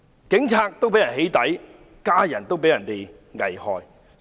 警務人員被起底，家人被危害。